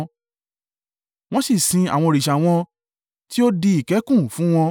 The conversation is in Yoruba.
Wọ́n sì sin àwọn òrìṣà wọn tí ó di ìkẹ́kùn fún wọn.